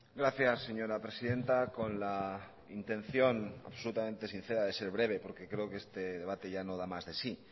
gracias señora presidenta con la intención absolutamente sincera de ser breve porque creo que este debate ya no da más de sí